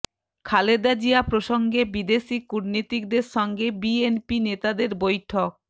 খালেদা জিয়া প্রসঙ্গে বিদেশি কূটনীতিকদের সঙ্গে বিএনপি নেতাদের বৈঠক